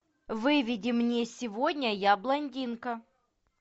выведи мне сегодня я блондинка